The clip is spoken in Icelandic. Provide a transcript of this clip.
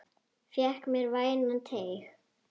Fékk mér vænan teyg.